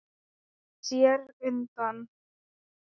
Sneri sér undan.